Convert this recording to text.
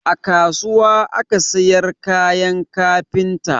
A kasuwa aka siyar kayan kafinta